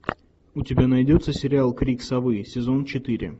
у тебя найдется сериал крик совы сезон четыре